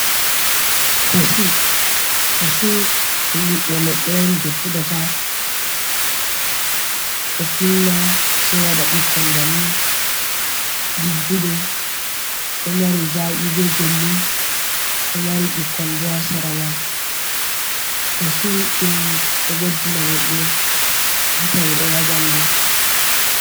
Kachu, Kachu ɗum ɓiɓbe leɗɗe on je fuɗata ɗo finna sei waɗa ɓikkon bannin ɗigguɗum ɗo mari zaki be belɗum ɗo mari ɓikkon bo ha seraman kachu ɗum ɗo ɓeddina goɗɗo bit amin on ha ɓandu.